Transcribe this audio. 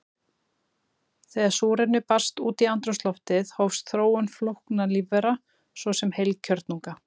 Þegar súrefni barst út í andrúmsloftið hófst þróun flóknara lífvera, svo sem heilkjörnunga.